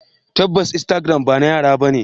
Tabbas instagram bana yara bane.